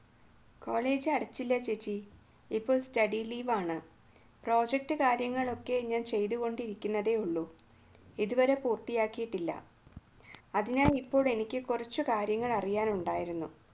college അടച്ചില്ല ചേച്ചി ഇപ്പോൾ study leave project കാര്യങ്ങളൊക്കെ ഞാൻ ചെയ്തുകൊണ്ടിരിക്കുന്നതേയുള്ളൂ ഇതുവരെ പൂർത്തിയാക്കിയിട്ടില്ല അതിനാൽ ഇപ്പോൾ എനിക്ക് കുറച്ച് കാര്യങ്ങൾ അറിയാൻ ഉണ്ടായിരുന്നു